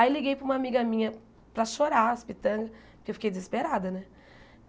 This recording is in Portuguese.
Aí liguei para uma amiga minha para chorar, as pitangas, porque eu fiquei desesperada, né?